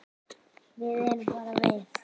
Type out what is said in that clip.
Við erum bara við